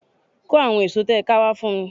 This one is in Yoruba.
Kó àwon èso tẹ́ ẹ ká wá fún mi